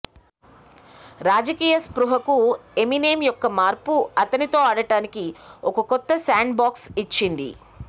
రాజకీయ స్పృహకు ఎమినెం యొక్క మార్పు అతనితో ఆడటానికి ఒక కొత్త శాండ్బాక్స్ ఇచ్చింది